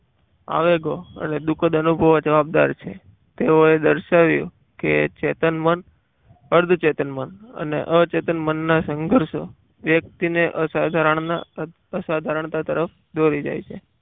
આવેગો અને દુઃખદ અનુભવો જવાબદાર છે તેઓએ દર્શાવ્યું કે ચેતન મન વાઘ બારણે અર્ધ ચેતન મન અને અચેતન મનના સંઘર્ષો વ્યક્તિએ અસાધારણના અસાધારણા તરફ દોરી જાય છે.